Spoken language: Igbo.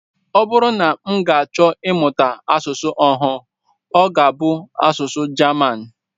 Ọ bụrụ na m ga-achọ ịmụta asụsụ ọhụụ, ọ ga-abụ asụsụ German